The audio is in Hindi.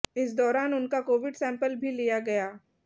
इस दौरान उनका कोविड सैंपल भी लिया गया